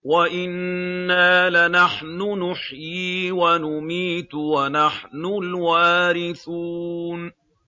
وَإِنَّا لَنَحْنُ نُحْيِي وَنُمِيتُ وَنَحْنُ الْوَارِثُونَ